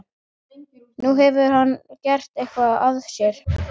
Nú, hefur hann gert eitthvað af sér?